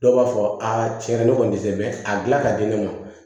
Dɔw b'a fɔ a tiɲɛ ne kɔni tɛ mɛ a dilan ka di ne ma